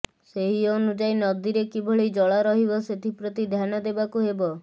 ସେହି ଅନୁଯାୟୀ ନଦୀରେ କିଭଳି ଜଳ ରହିବ ସେଥିପ୍ରତି ଧ୍ୟାନ ଦେବାକୁ ହେବ